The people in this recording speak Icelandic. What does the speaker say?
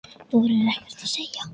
Þorir ekkert að segja.